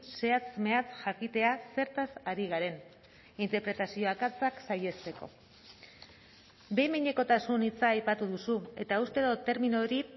zehatz mehatz jakitea zertaz ari garen interpretazio akatsak saihesteko behin behinekotasun hitza aipatu duzu eta uste dut termino hori